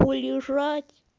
полежать